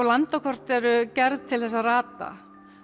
landakort eru gerð til að rata